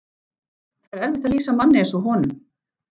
Það er erfitt að lýsa manni eins og honum.